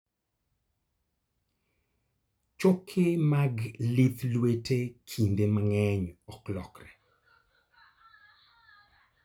Choke mag lith lwete kinde mang'eny ok lokre.